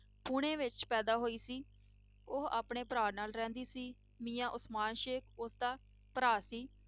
ਪੂਨੇ ਵਿੱਚ ਪੈਦਾ ਹੋਈ ਸੀ ਉਹ ਆਪਣੇ ਭਰਾ ਨਾਲ ਰਹਿੰਦੀ ਸੀ ਮੀਆਂ ਉਸਮਾਨ ਸੇਖ਼ ਉਸਦਾ ਭਰਾ ਸੀ।